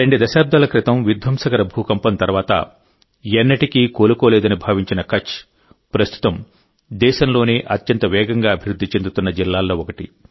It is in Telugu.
రెండు దశాబ్దాల క్రితం విధ్వంసకర భూకంపం తర్వాత ఎన్నటికీ కోలుకోలేదని భావించిన కచ్ ప్రస్తుతం దేశంలోనే అత్యంత వేగంగా అభివృద్ధి చెందుతున్న జిల్లాల్లో ఒకటి